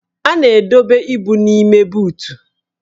A na-edobe ibu n'ime buutu